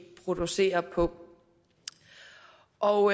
producerer på og